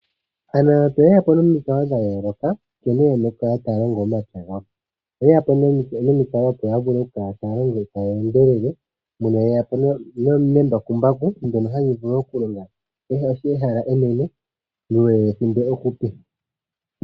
Aanamapya oye ya po nomikalo dha yooloka nkene ye na okukala ta ya longo omapya gawo. Oye ya po nomikalo opo ya vule okukala taya longo taya endelele, mpono ye ya po nembakumbaku ndyono hali vulu okulonga ehala enene muule wethimbo ehupi.